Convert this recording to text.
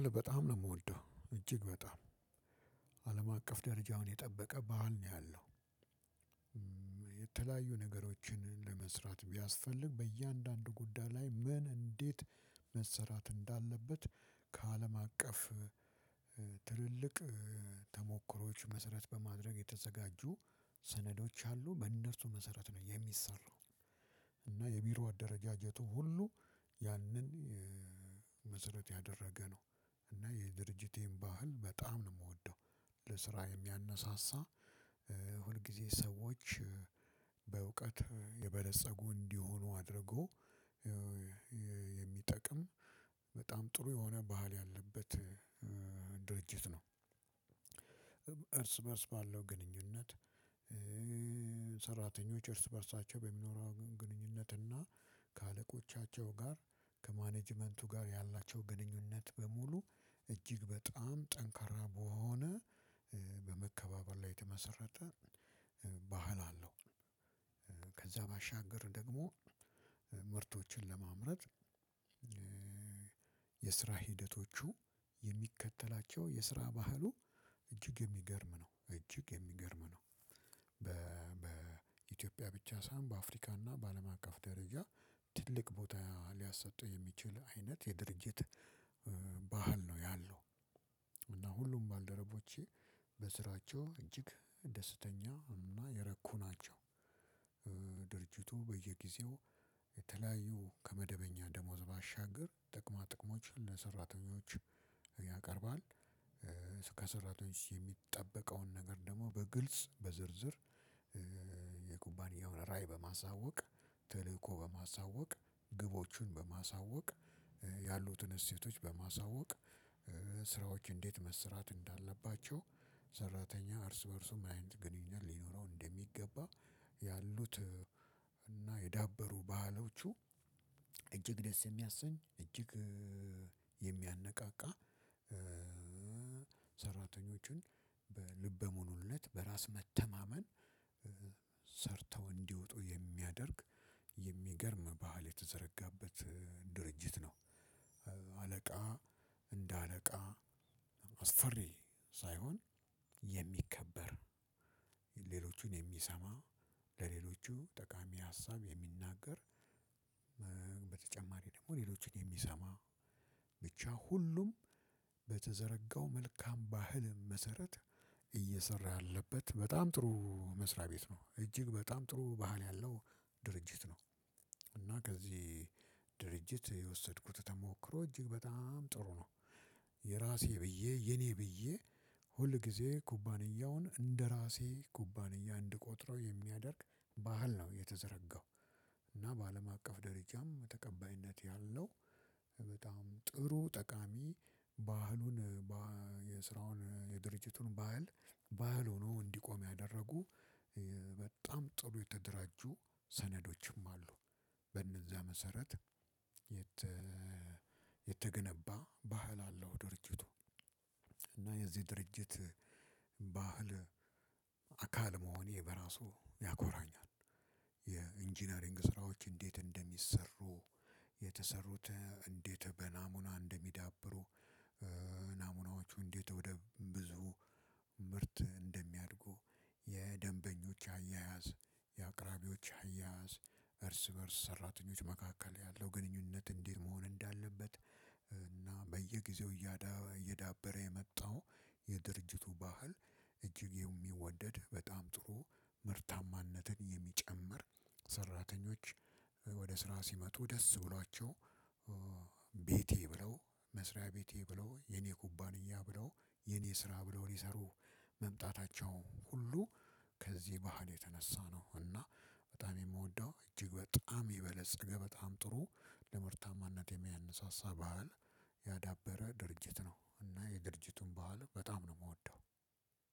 በጣም ነው የምወደው እጅግ በጣም አለም አቀፍ ደረጃውን የጠበቀ ባህል ነው። ያለው ነገሮችን ለመስራት ቢያስፈልግ በእያንዳንዱ ጉዳይ ላይ ምን እንዴት እንዳለበት ከአለም አቀፍ ትልልቅ ተሞክሮዎች መሰረት በማድረግ የተዘጋጁ ሰነዶች አሉ በነሱ መሰረት ነው የሚሰራው። እና የቢሮ አደረጃጀቱ ሁሉ ያንን መሰረት ያደረገ ነው። እና የድርጅቴን ባህል በጣም ነው ምወደው ለስራ የሚያነሳሳ ሁልጊዜ ሰዎች በእውቀት የበለፀጉ እንዲሆኑ አድርጎ የሚጠቅም በጣም ጥሩ የሆነ ባህል ያለበት ድርጅት ነው። እርስ በእርስ ባለው ግንኙነት ሰራተኞች እርስ በእርሳቸው በሚኖረው ግንኙነት እና ከአለቆቻቸው ጋር ከማኔጅመንቱ ጋር ያላቸው ግንኙነት በሙሉ እጅግ በጣም ጠንካራ በሆነ በመከባበር ላይ የተመሰረተ ባህል አለው። ከዛ ባሻገር ደግሞ ምርቶችን ለማምረት የስራ ሂደቶቹ የሚከተላቸው የስራ ባህሉ እጅግ የሚገርም ነው እጅግ የሚገርም ነው። በኢትዮጵያ ብቻ ሳይሆን በአፍሪካና በአለም አቀፍ ደረጃ ትልቅ ቦታ ሊያሰጥ የሚችል አይነት የድርጅት ባህል ነው ያለው። እና ሁሉም ባልደረቦቼ በስራቸው እጅግ ደስተኛ እና የረኩ ናቸው። ድርጅቱ በየጊዜው የተለያዩ ከመደበኛ ደሞዝ ባሻገር ጥቅማ ጥቅሞችን ለሰራተኞች ያቀርባል። ከሰራተኞች የሚጠበቀውን ነገር ደግሞ በግልጽ በዝርዝር የኩባንያውን ራዕይ በማሳወቅ ተልእኮ በማሳወቅ ግቦችን በማሳወቅ ያሉትን እሴቶች በማሳወቅ ስራዎች እንዴት መስራት እንዳለባቸው ሰራተኛ እርስ በእርሱ ምን አይነት ግንኙነት ሊኖረው እንደሚገባ ያሉት እና የዳበሩ ባህሎቹ እጅግ ደስ የሚያሰኝ እጅግ የሚያነቃቃ ሰራተኞቹን በልበ ሙሉነት በራስ መተማመን ሰርተው እንዲወጡ የሚያደርግ የሚገርም ባህል የተዘረጋበት ድርጅት ነው። አለቃ እንደ አለቃ አስፈሪ ሳይሆን የሚከበር ሌሎችን የሚሰማ ለሌሎቹ ጠቃሚ ሀሳብ የሚናገር በተጨማሪ ደግሞ ሌሎቹን የሚሰማ ብቻ ሁሉም በተዘረጋው መልካም ባህልም መሰረት እየሰራ ያለበት በጣም ጥሩ መስሪያ ቤት ነው እጅግ በጣም ጥሩ ባህል ያለው ድርጅት ነው። እና ከዚህ ድርጅት የወሰድኩት ተሞክሮ እጅግ በጣም ጥሩ ነው። የራሴ ብዬ የኔ ብዬ ሁልጊዜ ኩባንያውን እንደራሴ ኩባንያ እንድቆጥረው የሚያደርግ ባህል ነው የተዘረጋው። እና በአለም አቀፍ ደረጃም ተቀባይነት ያለው በጣም ጥሩ ጠቃሚ ባህሉን የስራውን የድርጅቱን ባህል ባህል ሆኖ እንዲቆም ያደረጉ በጣም ጥሩ የተደራጁ ሰነዶችም አሉ። በእነዛ መሰረት የተገነባ ባህል አለው ድርጅቱ። የዚህ ድርጅት ባህል አካል መሆኔ በራሱ ያኮራኛል። የኢንጂነሪንግ ስራዎች እንዴት እንደሚሰሩ የተሰሩት እንዴት በናሙና እንደሚዳብሩ ናሙናዎቹ እንዴት ወደ ብዙ ምርት እንደሚያድጉ የደንበኞች አያያዝ የአቅራቢዎች አያያዝ እርስ በእርስ ሰራተኞች መካከል ያለው ግንኙነት እንዲህ መሆን እንዳለበት። እና በየጊዜው እያ እየዳበረ የመጣው የድርጅቱ ባህል እጅግ የሚወደድ በጣም ጥሩ ምርታማነትን የሚጨምር ሰራተኞች ወደ ስራ ሲመጡ ደስ ብሏቸው። ቤቴ ብለው መስሪያ ቤቴ ብለው የኔ ኩባንያ ብለው የኔ ስራ ብለው ሊሰሩህ መምጣታቸው ሁሉ ከዚህ ባህል የተነሳ ነው። እና በጣም የምወደው እጅግ በጣም የበለፀገ ገበታም ጥሩ ለምርታማነት የሚያነሳሳ ባህል ያዳበረ ድርጅት ነው እና የድርጅቱ ባህል በጣም ነው ምወደው።